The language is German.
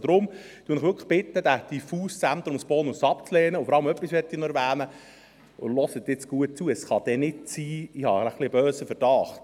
Deshalb bitte ich Sie wirklich, diesen diffusen Zentrumsbonus abzulehnen, und vor allem möchte ich noch etwas erwähnen, und hören Sie nun gut zu: Ich habe einen etwas bösen Verdacht.